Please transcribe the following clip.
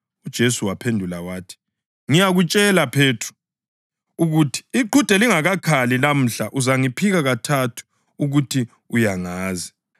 UJesu waphendula wathi, “Ngiyakutshela, Phethro, ukuthi iqhude lingakakhali lamuhla, uzaphika kathathu ukuthi uyangazi.”